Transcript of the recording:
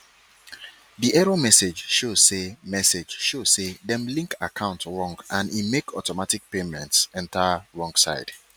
di error message show say message show say dem link account wrong and e make automatic payments enter wrong side